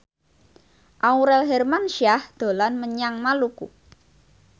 Aurel Hermansyah dolan menyang Maluku